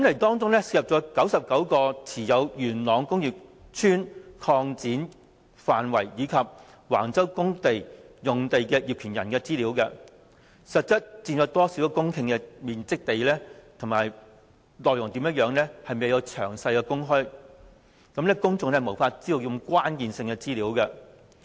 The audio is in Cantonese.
當中涉及99個持有元朗工業邨擴展範圍及橫洲公屋用地的業權人資料、當中實質佔有多少公頃面積的土地等內容，均未有詳細公開，公眾因而無法得知這些關鍵性資料。